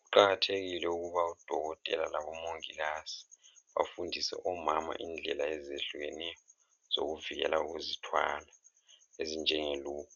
Kuqakathekile ukuba odokotela labomongikazi bafundise omama indlela ezehlukeneyo zokuvikela ukuzithwala ezinjenge loop,